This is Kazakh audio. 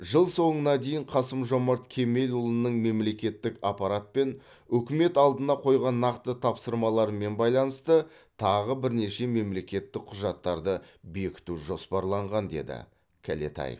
жыл соңына дейін қасым жомарт кемелұлының мемлекеттік аппарат пен үкімет алдына қойған нақты тапсырмалармен байланысты тағы бірнеше мемлекеттік құжаттарды бекіту жоспарланған деді кәлетаев